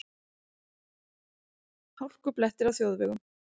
Hálkublettir á þjóðvegum